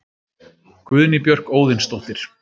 Guðný Björk Óðinsdóttir